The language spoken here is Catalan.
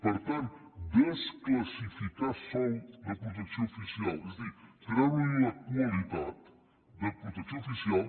per tant desclassificar sòl de protecció oficial és a dir treure li la qualitat de protecció oficial